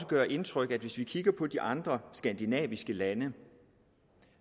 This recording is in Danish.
gøre indtryk at hvis vi kigger på de andre skandinaviske lande